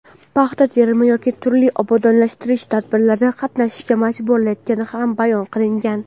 paxta terimi yoki turli obodonlashtirish tadbirlarida qatnashishga majburlayotgani ham bayon qilingan.